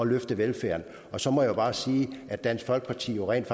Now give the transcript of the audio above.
løfte velfærden og så må jeg bare sige at dansk folkeparti rent